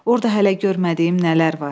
Orda hələ görmədiyim nələr var.